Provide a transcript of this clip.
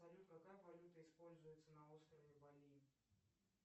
салют какая валюта используется на острове бали